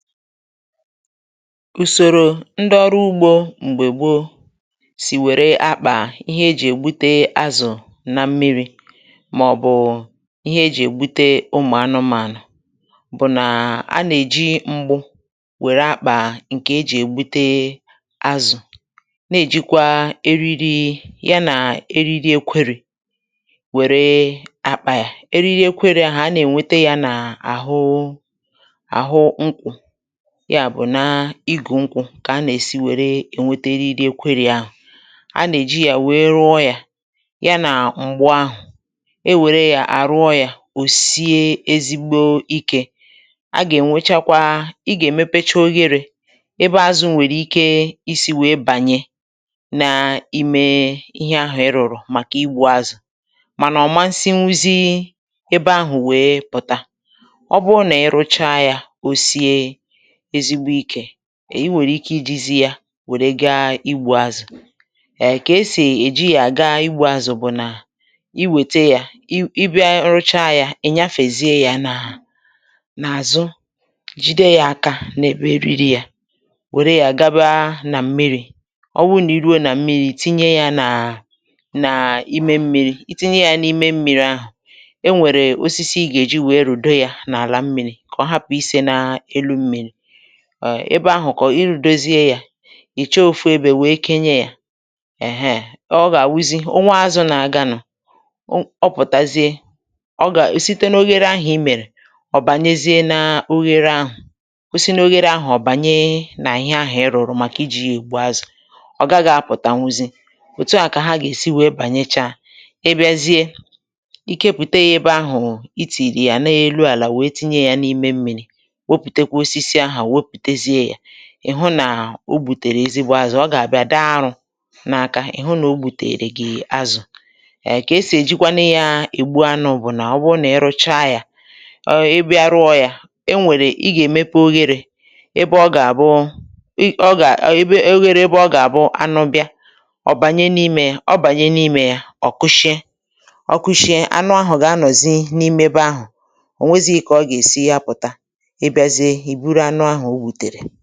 Ùsòrò ndị ọrụ ugbȯ m̀gbè gboo sì wère akpà ihe ejì ègbute azụ̀ na mmiri̇ màọ̀bụ̀ ihe ejì ègbute ụmụ̀ anụmànụ̀ bụ̀ nà a nà-èji mgbu wère akpà ǹkè ejì ègbute azụ̀, na-èjikwa eriri ya nà èriri ekwėrė, wère àkpà ya eriri ekwėrė ya ha a nà-ènwete ya nà àhụ àhụ nkwụ, ya bụ̀ na ịgụ̀ nkwụ kà a nà-èsi wère ènwete eriri kwere yȧ àhụ, a nà-èji yȧ wère rụọ yȧ ya nà m̀gbu ahụ̀ e wère yȧ àrụọ yȧ ò sie ezigbo ikė, a gà-ènwechakwa i gà-èmepecha ogherė ebe azụ̇ nwèrè ike isi̇ wèe bànye n’ime ihe ahụ̀ ịrụ̀rụ̀ màkà igbu azụ̀, mànà ọ̀ ma nsị nwuzi ebe ahụ̀ wèe pụ̀ta, ọ bụrụ nà-èrụcha yȧ osie ezigbo ikė, i nwèrè ike ijizi yȧ wèrè gaa igbụ̇ azụ̀ kà esì èji yȧ gaa igbụ̇ azụ̀ bụ̀ nà, i wète yȧ ị bịa rụchaa yȧ ị̀ nyafezie yȧ n’àzụ jide yȧ aka nà-èbe eriri yȧ, wèrè yà gaba nà mmịrị̇ ọ wụrụ nà i ruo nà mmịrị̇ tinye yȧ nà nà ime mmi̇ri itinye yȧ n’ime mmịrị̇ ahụ̀ e nwèrè osisi ị gà-èji wèe rùdo yȧ n’àlà mmịrị̇ ka ọ hapụ̀ ise n’elu mmịrị̇, ebe ahù kà ọ̀ ịrụ̇dozie yȧ, ì chọọ òfu ebė wèe kenye yȧ, èheè ọ gà-àwuzi onwe azụ̇ nà-àganụ̀, ọ pụ̀tàzie ọ gà-èsite n’oghere ahụ̀ i mèrè ọ̀ bànyezie n’oghere ahụ̀, ọ si n’oghere ahụ̀ ọ̀ bànye nà ihe ahụ̀ ì rụ̀rụ̀ màkà i ji̇ egbu azụ̀, ọ̀ gaghị̇ apụ̀tà nwuzi̇, òtu a kà ha gà-èsi wèe bànyechaa, ibiazie ike pùte yȧ ebe ahù i tìrì yà n’elu àlà wèe tinye yȧ n’ime mmi̇ri, wepute kwa osisi ahu weputezie ya, ị̀ hụ nà o gbùtèrè ezigbo azụ̀, ọ gà àbịa dị arụ̇ n’aka ị̀ hụ nà o gbùtèrè gị azụ̀, um kà e sì èjikwanụ yȧ egbu anụ bụ̀ nà ọ bụrụ nà ị rụcha yȧ, ọ ị bịa rụọ̇ yȧ, e nwèrè ị gà èmepe ogherė ebe ọ gà àbụ ị ọ gà o ogherė ebe ọ gà àbụ anụ bịa ọ̀ bànye n’imė, ọ̀ bànye n’imė, ọ̀ koshie, ọ̀ koshie anụ ahụ̀ gà anọ̀zị n’imebe ahụ̀ ò nwezi̇ghi̇ kà ọ gà èsi ya pụ̀ta, ị́ biazie I bụrụ anụ ahụ ogbutere.